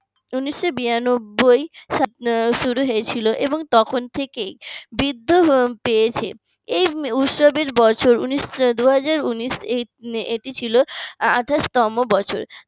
উনিশশো বিরানব্বই শুরু হয়েছিল এবং তখন থেকেই বৃদ্ধি পেয়েছে এই উৎসবের বছর উনিশ দুইহাজার উনিশ এটি ছিল আঠাশতম বছর।